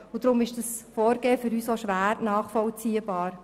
Deshalb ist dieses Vorgehen für uns schwer nachvollziehbar.